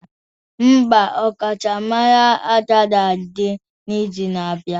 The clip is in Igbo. Mba, ọkachamara agaghị adị n'izu na-abịa.